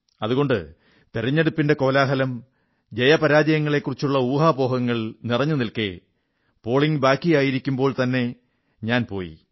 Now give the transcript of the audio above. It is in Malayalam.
അതുകൊണ്ട് തിരഞ്ഞെടുപ്പിന്റെ കോലാഹലം ജയപരാജയങ്ങളെക്കുറിച്ചുള്ള ഊഹാപോഹങ്ങൾ നിറഞ്ഞനിൽക്കെ പോളിംഗ് ബാക്കിയായിരിക്കുമ്പോൾത്തന്നെ ഞാൻ പോയി